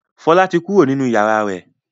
Fọlá ti kó kúrò nínú ìyàrá rẹ̀.